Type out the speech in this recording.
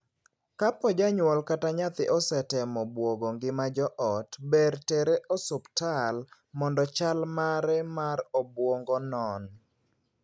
Kopo janyuol kata nyathi osetemo buogo ngima joot, ber tere osiptal mondo chal mare mar obuongo non.